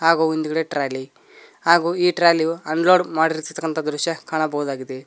ಹಾಗೂ ಹಿಂದುಗಡೆ ಟ್ರಾಲಿ ಹಾಗೂ ಈ ಟ್ರಾಲಿ ಯು ಅನ್ಲೋಡ್ ಮಾಡುತ್ತಿರುವಂತಹ ದೃಶ್ಯ ಕಾಣಬಹುದಾಗಿದೆ.